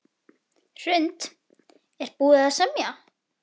Hrund: Er búið að semja?